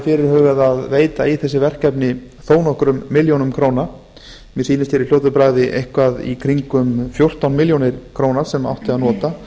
fyrirhugað að veita í þessu verkefni þó nokkrum milljónum króna mér sýnist í fljótu bragði eitthvað í kringum fjórtán milljónir króna sem átti að nota